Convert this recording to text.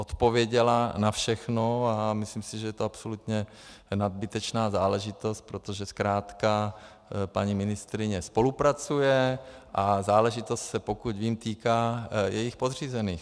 Odpověděla na všechno a myslím si, že je to absolutně nadbytečná záležitost, protože zkrátka paní ministryně spolupracuje a záležitost se, pokud vím, týká jejích podřízených.